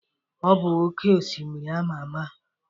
Ọ bụ oké osimiri ama ama.